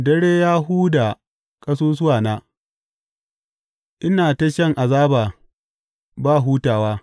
Dare ya huda ƙasusuwana; ina ta shan azaba ba hutawa.